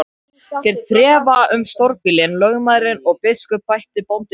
Þeir þrefa um stórbýlin, lögmaðurinn og biskup, bætti bóndinn við.